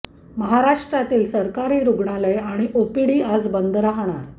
महाराष्ट्रातील सरकारी रूग्णालये आणि ओपीडी आज बंद राहणार आहे